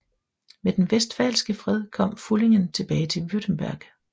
Med den westfalske fred kom Pfullingen tilbage til Württemberg